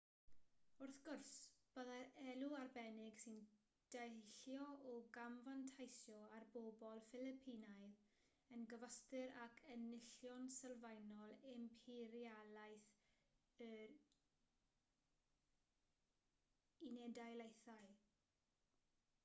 wrth gwrs byddai'r elw arbennig sy'n deillio o gamfanteisio ar bobl ffilipinaidd yn gyfystyr ag enillion sylfaenol imperialaeth yr u.d